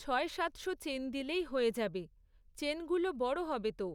ছয় সাতশো চেন দিলেই হয়ে যাবে, চেন গুলো বড় হবে তো।